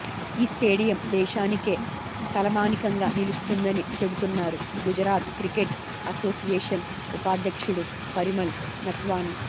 ఈ స్టేడియం దేశానికే తలమానికంగా నిలుస్తుందని చెబుతున్నారు గుజరాత్ క్రికెట్ అసోసియేషన్ ఉపాధ్యక్షుడు పరిమల్ నత్వాని